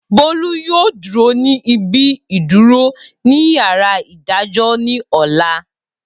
Bolu yoo duro ni ibi iduro ni yara idajọ ni ọla.